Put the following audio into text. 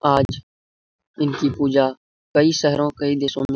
आज इनकी पूजा कई शहरों कई देशों में --